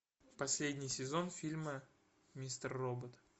последний сезон фильма мистер робот